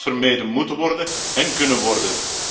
Dit had vermeden moeten worden en kunnen worden.